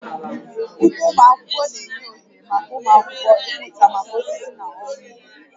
Ugbo ụlọ akwụkwọ na-enye ohere maka ụmụ akwụkwọ ịmụta maka osisi na ọrụ ugbo